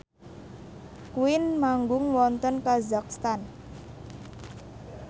Queen manggung wonten kazakhstan